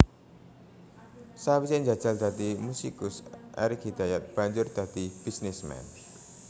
Sawisé njajal dadi musikus Erik Hidayat banjur dadi bisnisman